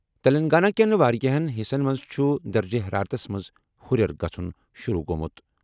تیٚلنٛگانہ کیٚن واریاہن حِصن منٛز چُھ درجہٕ حرارتس منٛز ہُرٮ۪ر گژھُن شروٗع گوٚمُت۔